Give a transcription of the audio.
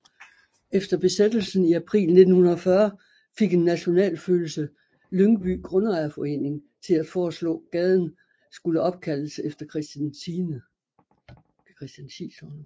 Efter Besættelsen i april 1940 fik en nationalfølelse Lyngby Grundejerforening til at foreslå gaden skulle opkaldes efter Christian 10